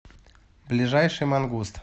ближайший мангуст